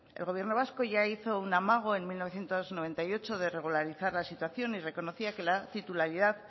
el gobierno vasco ya hizo un amago en mil novecientos noventa y ocho de regularizar la situación y reconocía que la titularidad